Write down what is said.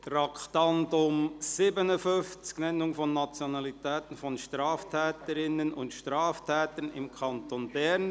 Wir kommen zum Traktandum 57, «Nennung von Nationalitä ten von Straftä terinnen und Straftä tern im Kanton Bern.